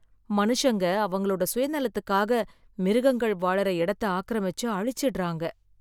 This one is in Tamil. மனுஷங்க அவங்களோட சுயநலத்துக்காக மிருகங்கள் வாழுற எடத்த ஆக்கிரமிச்சு, அழிச்சுடுறாங்க.